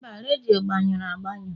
mba, redio agbanyụrụ agbanụ